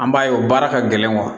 An b'a ye o baara ka gɛlɛn